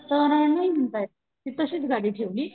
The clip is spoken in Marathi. तर नाही म्हणतायत ती तशीच गाडी ठेवली.